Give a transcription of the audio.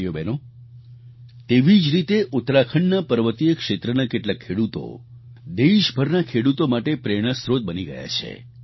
ભાઈઓબહેનો તેવી જ રીતે ઉત્તરાખંડના પર્વતીય ક્ષેત્રના કેટલાક ખેડૂતો દેશભરના ખેડૂતો માટે પ્રેરણા સ્ત્રોત બની ગયા છે